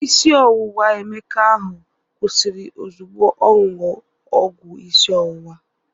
Isi ọwụwa Emeka ahụ kwụsịrị ozugbo oṅụrụ ọgwụ isi ọwụwa.